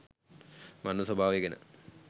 මරණ ස්වභාවය ගැන